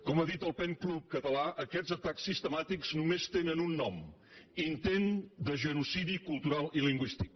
com ha dit el pen club català aquests atacs sistemàtics només tenen un nom intent de genocidi cultural i lingüístic